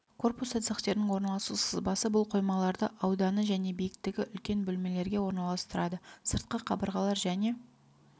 корпуста цехтердің орналасу сызбасы бұл қоймаларды ауданы және биіктігі үлкен бөлмелерге орналастырады сыртқы қабырғалар және